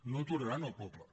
no aturaran el poble